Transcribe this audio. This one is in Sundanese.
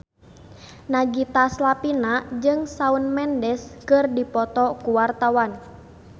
Nagita Slavina jeung Shawn Mendes keur dipoto ku wartawan